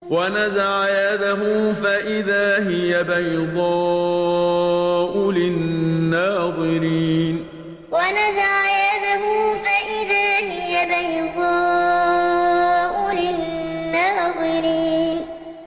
وَنَزَعَ يَدَهُ فَإِذَا هِيَ بَيْضَاءُ لِلنَّاظِرِينَ وَنَزَعَ يَدَهُ فَإِذَا هِيَ بَيْضَاءُ لِلنَّاظِرِينَ